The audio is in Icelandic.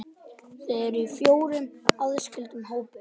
Þau eru í fjórum aðskildum hópum.